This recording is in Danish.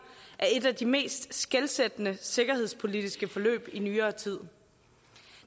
af et af de mest skelsættende sikkerhedspolitiske forløb i nyere tid